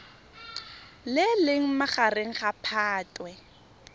le leng magareng ga phatwe